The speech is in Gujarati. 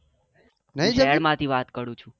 હા તો શહેર માં થી વાત કરું છું